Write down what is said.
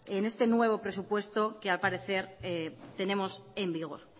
en este nuevo presupuesto que al parecer tenemos en vigor